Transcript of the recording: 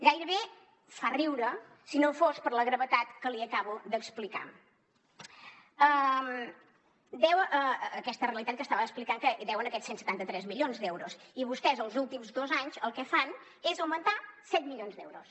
gairebé fa riure si no fos per la gravetat que li acabo d’explicar aquesta realitat que estava explicant que deuen aquests cent i setanta tres milions d’euros i vostès els últims dos anys el que fan és augmentar set milions d’euros